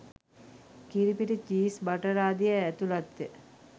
කිරිපිටි cheese butter ආදියේ ඇතුළත්ය